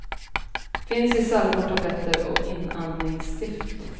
Finns i salvor, tabletter och inandningsstift.